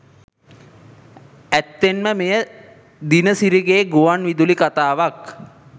ඇත්තෙන්ම මෙය දිනසිරිගේ ගුවන්විදුලි කතාවක්